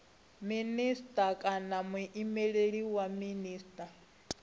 minisita kana muimeleli wa minisita